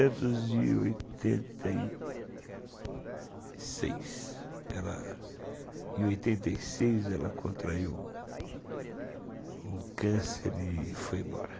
Em oitenta e seis, ela contraiu o câncer e foi embora.